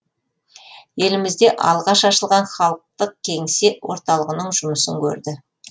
елімізде алғаш ашылған халықтық кеңсе орталығының жұмысын көрді